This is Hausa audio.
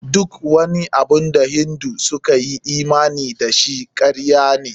Duk wani abun da Hindu suka yi imani da shi, karya ne.